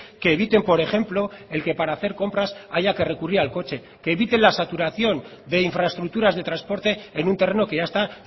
que eviten por ejemplo el que para hacer compras haya que recurrir al coche que eviten la saturación de infraestructuras de transporte en un terreno que ya está